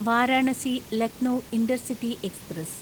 Varanasi Lucknow intercity express